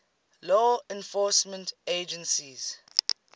law enforcement agencies